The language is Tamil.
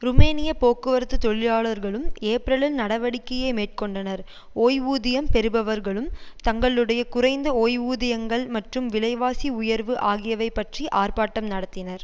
ருமேனிய போக்குவரத்து தொழிலாளர்களும் ஏப்ரலில் நடவடிக்கையை மேற்கோண்டனர் ஓய்வூதியம் பெறுபவர்களும் தங்களுடைய குறைந்த ஓய்வூதியங்கள் மற்றும் விலைவாசி உயர்வு ஆகியவை பற்றி ஆர்ப்பாட்டம் நடத்தினர்